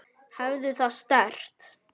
Hafðu það sterkt.